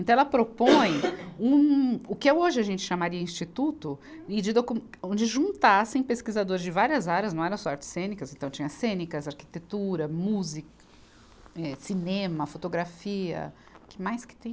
Então ela propõe um, o que é hoje a gente chamaria de instituto, e de docu, onde juntassem pesquisadores de várias áreas, não era só artes cênicas, então tinha cênicas, arquitetura, música, eh cinema, fotografia, o que mais que tem?